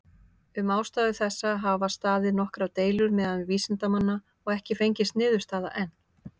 Um ástæðu þessa hafa staðið nokkrar deilur meðal vísindamanna, og ekki fengist niðurstaða enn.